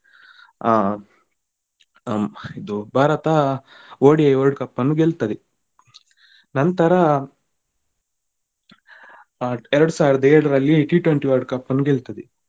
ಆ ಇದು Bharat ODI World Cup ಅನ್ನು ಗೆಲ್ತದೆ ನಂತರ ಆ ಎರಡು ಸಾವಿರದ ಏಳರಲ್ಲಿ T twenty World Cup ಅನ್ನು ಗೆಲ್ತದೆ.